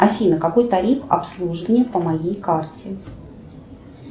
афина какой тариф обслуживания по моей карте